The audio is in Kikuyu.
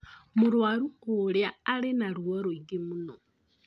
Mũrwaru ũrĩa arĩ na ruo rũingi mũno